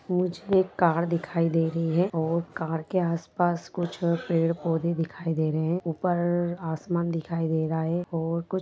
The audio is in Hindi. मुझे एक कार दिखाई दे रही है और कार के आसपास कुछ पेड़ पोधे दिखाई दे रहे है ऊपर आसमान दिखाई दे रहा है और कुछ--